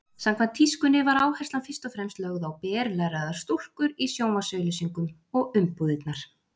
Samkvæmt tískunni var áherslan fyrst og fremst lögð á berlæraðar stúlkur í sjónvarpsauglýsingum og umbúðirnar.